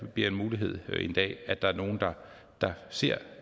bliver en mulighed en dag at der er nogle der ser